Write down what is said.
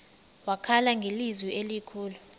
wakhala ngelizwi elikhulu